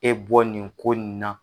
E bɔ nin ko nin na.